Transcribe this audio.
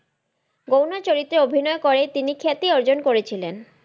গৌণ চরিত্রে অভিনয়ই করে তিনি খ্যাতি অর্জন করেছিলেন।